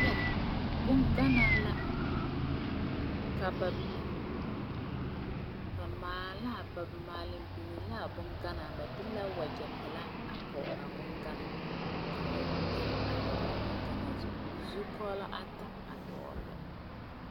Bunganaa la ka ba bing ba maalen bingeã la a bunganaa ba de la wuje pelaa a pɔg a bunganaa ka wuje kpɛng a doɔle a bunganaa zu zukuolong ata duoli la.